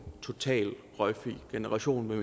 røgfri generation